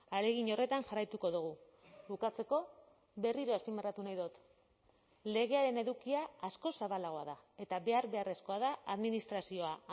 ahalegin horretan jarraituko dugu bukatzeko berriro azpimarratu nahi dut legearen edukia askoz zabalagoa da eta behar beharrezkoa da administrazioa